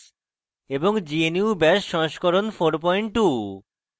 gnu bash সংস্করণ 42